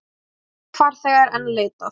Tveggja farþega er enn leitað.